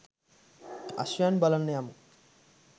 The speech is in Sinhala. අශ්වයන් බලන්න යමු.